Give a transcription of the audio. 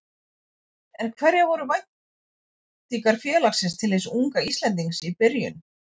En hverjar voru væntingar félagsins til hins unga Íslendings í byrjun?